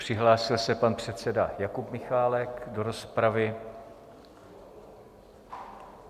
Přihlásil se pan předseda Jakub Michálek do rozpravy.